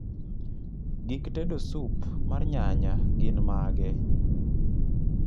gik tedo sup mar nyanya gin mage